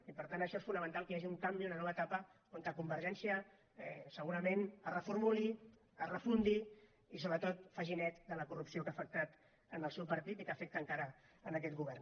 i per tant per això és fonamental que hi hagi un canvi una nova etapa on convergència segurament es reformuli es refundi i sobretot faci net de la corrupció que ha afectat el seu partit i que afecta encara aquest govern